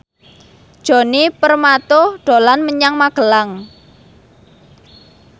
Djoni Permato dolan menyang Magelang